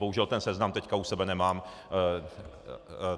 Bohužel ten seznam teď u sebe nemám.